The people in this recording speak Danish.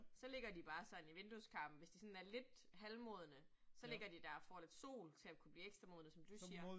Så ligger de bare sådan i vindueskarmen, hvis de sådan er lidt halvmodne, så ligger de der og får lidt sol til at kunne blive ekstra modne, som du siger